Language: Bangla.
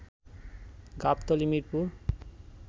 গাবতলী, মিরপুর